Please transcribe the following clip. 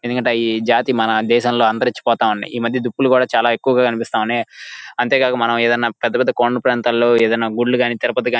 ఎందుకంటె అయ్యి జాతి మన దేశం లో అంతరించి పోత ఉన్నై. ఈ మధ్య దుప్పులు కూడా చాల ఎక్కువగా కనిపిస్తావున్నాయి .అంతే కాకకుండా మనం ఏదైనా పెద్ద పెద్ద కొండల ప్రాంతం లో ఈదిన గుడులు గని తిరుపతి--